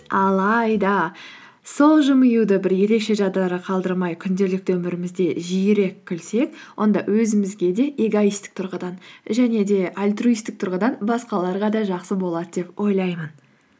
алайда сол жымиюды бір ерекше жағдайларға қалдырмай күнделікті өмірімізде жиірек күлсек онда өзімізге де эгоисттік тұрғыдан және де альтруисттік тұрғыдан басқаларға да жақсы болады деп ойлаймын